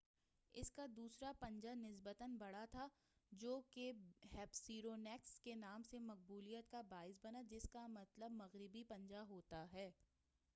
اس کا دوسرا پنجہ نسبتاً بڑا تھا جوکہ ہیسپیرونیکس نام کی مقبولیت کا باعث بنا جس کا مطلب مغربی پنجہ ہوتا ہے